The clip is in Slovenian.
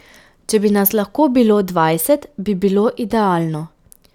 Če bi nas lahko bilo dvajset, bi bilo idealno ...